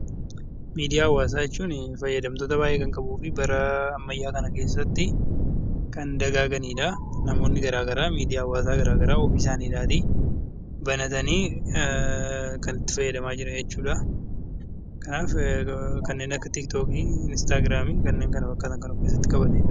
Miidiyaa hawaasaa jechuun fayyadamtoota baay'ee kan qabuu fi bara ammayyaa kana keessatti kan dagaaganidha. Namoonni garaagaraa ofii isaaniitii banatanii kan itti fayyadamaa jiran jechuudha. Kanaaf kanneen akka tiiktookii, instaagiraamii fi kanneen kana fakkaatan kan of keessatti qabatedha.